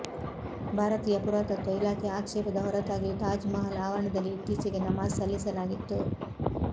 ಭಾರತೀಯ ಪುರಾತತ್ವ ಇಲಾಖೆ ಆಕ್ಷೇಪದ ಹೊರತಾಗಿಯೂ ತಾಜ್ ಮಹಲ್ ಆವರಣದಲ್ಲಿ ಇತ್ತೀಚೆಗೆ ನಮಾಜ್ ಸಲ್ಲಿಸಲಾಗಿತ್ತು